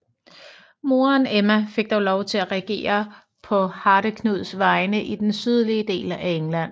Moderen Emma fik dog lov til at regere på Hardeknuds vegne i den sydlige del af England